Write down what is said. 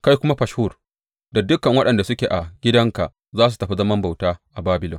Kai kuma Fashhur, da dukan waɗanda suke a gidanka za ku tafi zaman bauta a Babilon.